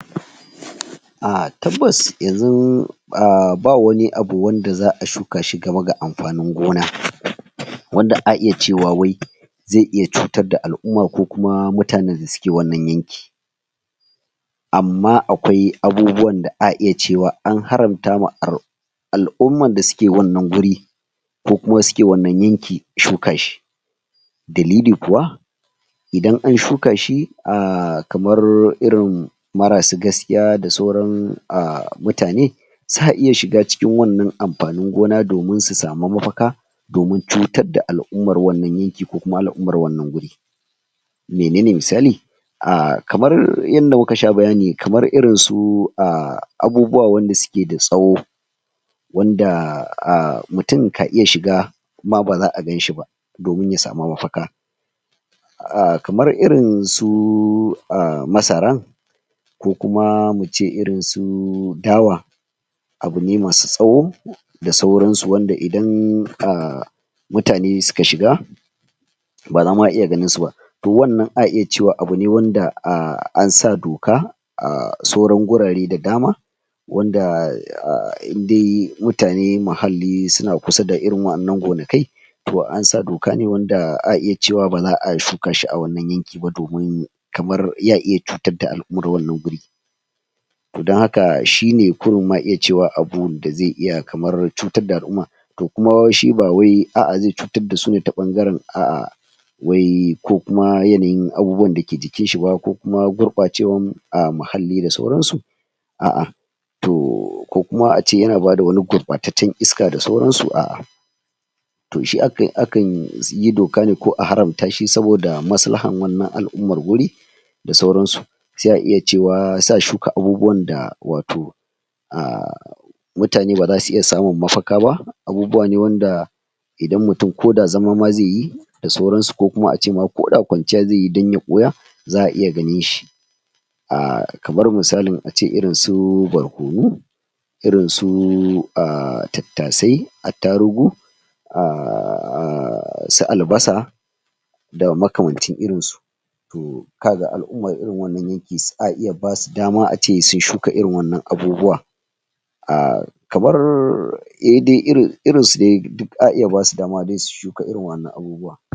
? ahh tabbas yanxun ah ba wani abu wanda za'a shuka shi gaba ga ampanin gona wanda a iya cewa wai zai iya cutar da al'uma ko kuma mutanen da suke wannan yanki amma akwai abubuwan da a iya cewa an haramta ma al'uman da suke wannan guri ko kuma suke wannan yanki shuka shi dalili kuwa idan an shuka shi ahh kamar irin marasu gaskiya da sauran mutane sa iya shiga cikin wannan ampanin gona domin su samu mafaka domin cutar da al'umar wannan yanki ko kuma al'umar wannan wuri menene misali a kamar yanda muka sha bayani kamar irin su abubuwa wanda suke da tsawo wanda mutun ka iya shiga ma baza'a ganshi ba domin ya samu mafaka kamar irin su masaran ko kuma mu ce irin su dawa abu ne masu tsawo da sauransu wanda idan mutane suka shiga bara ma a iya ganinsu ba to wannan a iya cewa abu ne wanda ansa doka sauran gurare da dama wanda in de mutane muhalli suna kusa da irin wa'annan gonakai to ansa doka ne wanda a iya cewa baxa'a shuka shi a wannan yanki ba domin kamar ya iya cutar da al'umar wannan guri to don haka shine kurun ma iya cewa abinda zai iya kamar cutar da al'uma to kuma shi ba wai a'a zai cutar dasu ne ta ɓangaren a'a wai ko kuma yanayin abubuwan da ke jikinshi ba ko kuma gurɓacewan muhalli da sauransu a'a to ko kuma ace yana bada wani gurɓataccen iska da sauransu a'a to shi akan yi doka ne ko a haramta shi saboda maslahan wannan al'umar guri da sauransu sai a iya cewa sa shuka abubuwan da wato ah mutane bazasu iya samun mafaka ba abubuwa ne wanda idan mutun ko da zama ma zai yi da sauransu ko kuma ace ma ko da kwanciya zai yi don ya ɓuya za'a iya ganinshi ah kamar misalin ace irin su barkonu irin su tattasai attarugu? su albasa da makamancin irinsu to ka ga al'umar irin wannan yanki a iya basu dama ace su shuka irin wannan abubuwa ah kamar eh dai irin su dai duk a iya basu dama dai su shuka irin wa'annan abubuwa